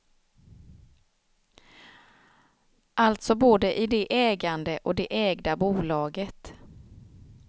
Alltså både i det ägande och det ägda bolaget.